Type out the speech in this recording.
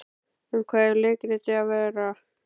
Um hvað á leikritið að vera?